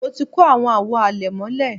mo ti kó àwọn àwo àlẹ̀mọ́lẹ̀